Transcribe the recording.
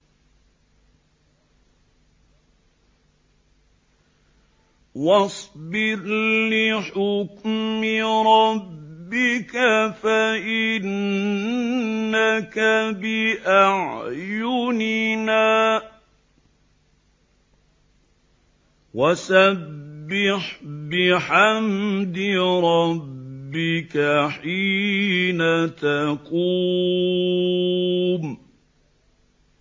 وَاصْبِرْ لِحُكْمِ رَبِّكَ فَإِنَّكَ بِأَعْيُنِنَا ۖ وَسَبِّحْ بِحَمْدِ رَبِّكَ حِينَ تَقُومُ